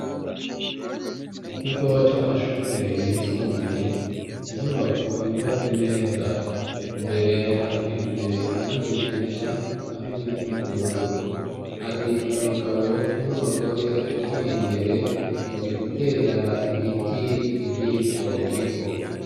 Mu kigo c'amashure yisumbuye inyubako yubatse neza, imbere hasize irangi ryera hamwe n'ubururu, hari abagabo n'abagore bari imbere bari gutera imiti muri ico kigo.